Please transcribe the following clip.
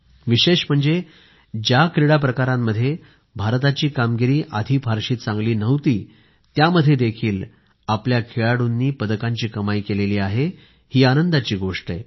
विशेष म्हणजे ज्या क्रीडा प्रकारांमध्ये भारताची कामगिरी आधी फारशी चांगली नव्हती त्यामध्येही भारतीय खेळाडूंनी पदकाची कमाई केली आहे ही आनंदाची गोष्ट आहे